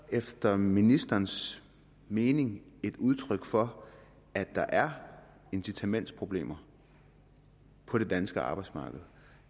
efter ministerens mening et udtryk for at der er incitamentsproblemer på det danske arbejdsmarked